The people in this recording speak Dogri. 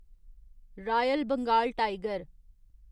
royal Bengal tiger